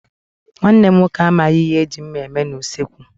Nwanne m nwoke amaghị ihe e ji mma eme n'usekwu.